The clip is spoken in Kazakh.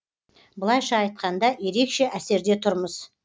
былайша айтқанда ерекше әсерде тұрмыз